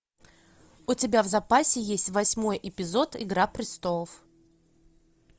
у тебя в запасе есть восьмой эпизод игра престолов